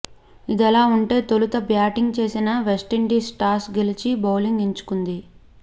ఇదిలా ఉంటే తొలుత బ్యాటింగ్ చేసిన వెస్టిండీస్ టాస్ గెలిచి బౌలింగ్ ఎంచుకుంది